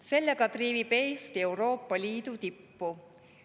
Sellega triivib Eesti Euroopa Liidu tippu.